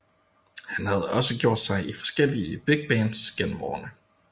Han har også gjort sig i forskellige big bands gennem årene